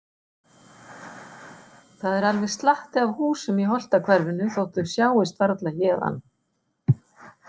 Það er alveg slatti af húsum í Holtahverfinu þótt þau sjáist varla héðan.